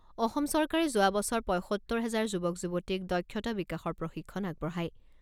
অসম চৰকাৰে যোৱা বছৰ পঁইসত্তৰ হেজাৰ যুৱক যুৱতীক দক্ষতা বিকাশৰ প্ৰশিক্ষণ আগবঢ়ায়।